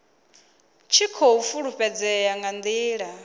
tshi khou fhulufhedzea nga ndila